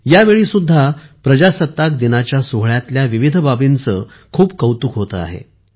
यावेळी सुद्धा प्रजासत्ताक दिनाच्या सोहळ्यातल्याविविध बाबींचे खूप कौतुक होते आहे